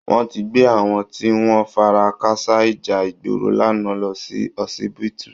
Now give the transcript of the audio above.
Wọ́n tí gbé àwọn tí wọn fara káásá ìjà ìgboro lánàá lọ sí họsibítù